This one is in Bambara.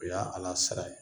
O y'a Ala sira ye.